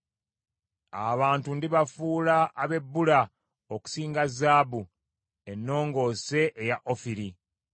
Abantu ndibafuula abebbula okusinga zaabu ennongoose eya ofiri.